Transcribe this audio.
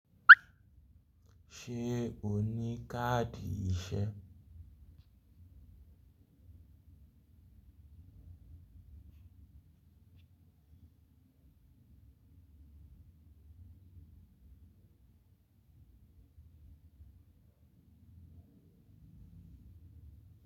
Ṣé o ní káàdì ìṣe?